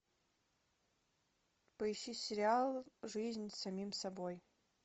поищи сериал жизнь с самим собой